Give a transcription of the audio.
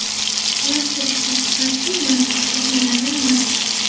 Klaster ishlab chiqarishning murakkab shakllaridan biri.